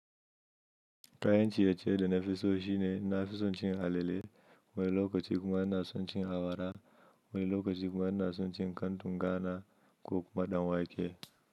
Kayan ciye-ciye da na fi so shine na fisuncin halile, wani lokaci kuma na suncin awara, wani lokaci kuma na suncin kantun Ghana ko kuma ɗan wake.